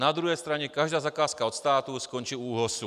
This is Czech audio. Na druhé straně každá zakázka od státu skončí u ÚOHS.